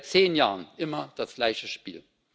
Seit zehn Jahren immer das gleiche Spiel.